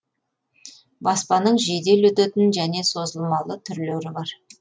баспаның жедел өтетін және созылмалы түрлері бар